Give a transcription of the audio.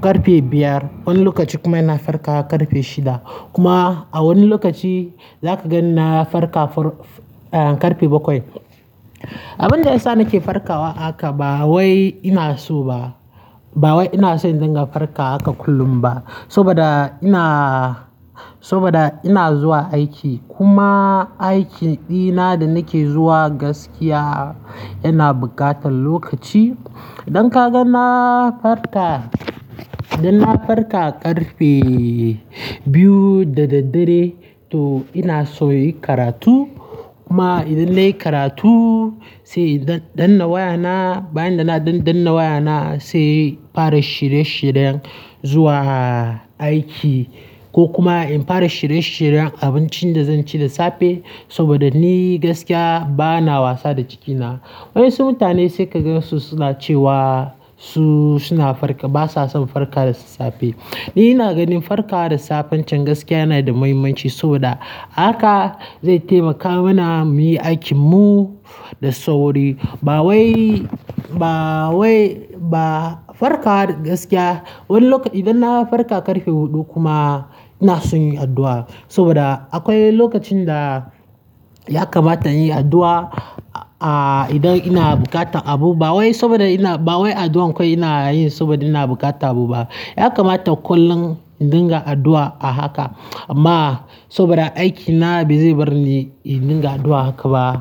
ƙarfe biyar. Wani lokaci kuma ina farkawa ƙarfe shida. Kuma a wani lokaci za ka ga ina farka har ƙarfe bakwai. Abin da ya sa nake farkawa haka ba wai ina so ba. Ba wai ina son in dinga farka haka kullum ba. Saboda ina, saboda ina zuwa aiki. Kuma aikin ɗina da nake zuwa gaskiya yana buƙatan lokaci. Idan ka ga na farka, idan na farka ƙarfe biyu da daddare to ina so in yi karatu. Kuma idan nayi karatu, sai in danna wayana. Bayan ina danna wayana sai fara shirye shiryen zuwa aiki ko kuma in fara shirye shiryen abincin da zan ci da safe. Saboda ni gaskiya ba na wasa da cikina. Waƴansu mutane sai ka ga su suna cewa su suna farka, ba sa son farka da safe. Ni ina ganin farka da safen can gaskiya yana da muhimmanci saboda haka zai taimaka mana mu yi aikin mu da sauri. Ba wai, ba wai ba, farka gaskiya wani lokaci idan na farka ƙarfe huɗu kuma ina son yin addu'a. Saboda akwai lokacin da ya kamata inyi addu'a, ah, idan ina buƙatan abu. Ba wai saboda ina, ba wai addu'ar akwai ina yin saboda ina bukata abu ba. Ya kamata kullum in dinga addu'a a haka. Amma saboda aiki na ba zai bar ni in dinga addu'a haka ba.